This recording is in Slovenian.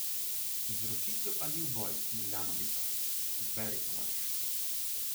Izročitev ali uboj Milanovića, izberi, tovariš.